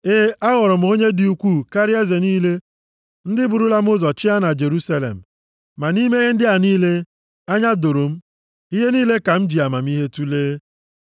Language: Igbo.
E, aghọrọ m onye dị ukwuu karịa eze niile ndị burula m ụzọ chịa na Jerusalem. Ma nʼime ihe ndị a niile, anya doro m, ihe niile ka m ji amamihe tulee.